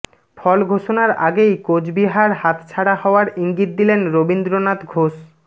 ফল ঘোষণার আগেই কোচবিহার হাতছাড়া হওয়ার ইঙ্গিত দিলেন রবীন্দ্রনাথ ঘোষ